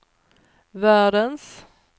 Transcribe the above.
världens